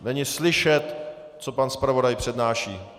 Není slyšet, co pan zpravodaj přednáší.